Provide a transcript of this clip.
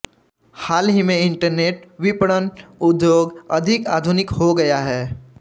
हाल ही में इंटरनेट विपणन उद्योग अधिक आधुनिक हो गया है